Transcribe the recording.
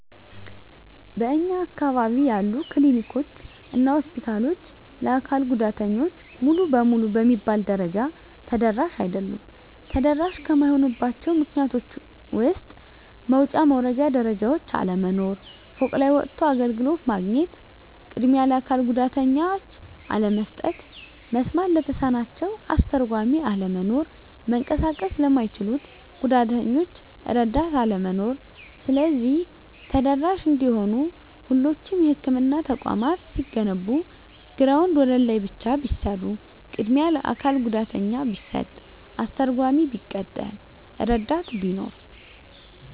በእኛ አካባቢ ያሉ ክሊኒኮች እና ሆስፒታሎች ለአካል ጉዳተኞች ሙሉ በሙሉ በሚባል ደረጃ ተደራሽ አይደሉም። ተደራሽ ከማይሆኑባቸው ምክንያቶች ውስጥ መውጫ መውረጃ ደረጃዎች መኖር፤ ፎቅ ላይ ወጥቶ አገልግሎት ማግኘት፤ ቅድሚያ ለአካል ጉዳተኞች አለመስጠት፤ መስማት ለተሳናቸው አስተርጓሚ አለመኖር፤ መንቀሳቀስ ለማይችሉት ጉዳተኞች እረዳት አለመኖር። ስለዚህ ተደራሽ እንዲሆኑ ሁሎቹም የህክምና ተቋማት ሲገነቡ ግራውንድ ወለል ላይ ብቻ ቢሰሩ፤ ቅድሚያ ለአካል ጉዳተኛ ቢሰጥ፤ አስተርጓሚ ቢቀጠር፤ እረዳት ቢኖር።